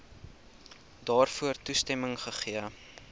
daarvoor toestemming gegee